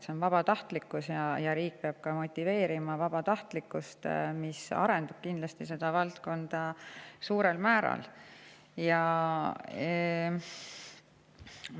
See on vabatahtlikkus, aga riik peab motiveerima ka vabatahtlikkust, mis seda valdkonda kindlasti suurel määral arendab.